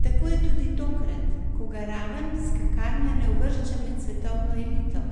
Tako je tudi tokrat, ko ga raven skakanja ne uvršča med svetovno elito: